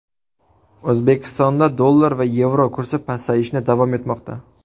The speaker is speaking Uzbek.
O‘zbekistonda dollar va yevro kursi pasayishni davom etmoqda.